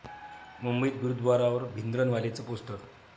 मुंबईत गुरूद्वारावर भिंद्रनवालेचं पोस्टर!